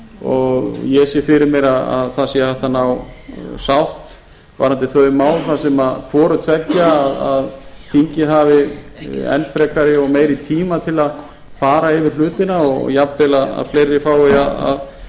og ég sé fyrir mér að það sé hægt að ná sátt varðandi þau mál þar sem hvoru tveggja að þingið hafi enn frekari og meiri tíma til að fara yfir hlutina og jafnvel að fleiri fái að